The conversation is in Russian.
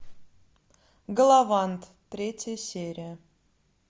галавант третья серия